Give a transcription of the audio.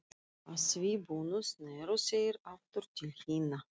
Að því búnu sneru þeir aftur til hinna.